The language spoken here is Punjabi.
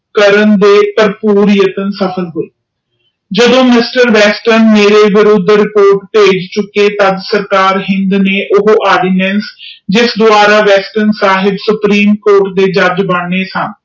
ਕਰਨ ਦੇ ਤੇ ਕਰਨ ਲਾਇ ਜਦੋ ਮਿਸਟਰ ਵੈਸਟਰਨ ਮੇਰੇ ਤੇ ਰਿਪੋਰਟ ਪੇਜ ਚੂਇਕੇ ਸਨ ਊਸਦਵਾਰਾ ਐਸਵਤਰੇਂ ਸਾਬ ਸੁਪਰੀਮ ਕੋਟ ਤੇ ਜੱਜ ਬੰਗਏ ਸਨ